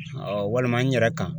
walima n yɛrɛ kan.